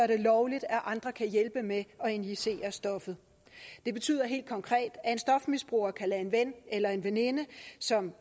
det lovligt at andre kan hjælpe med at injicere stoffet det betyder helt konkret at en stofmisbruger kan lade en ven eller en veninde som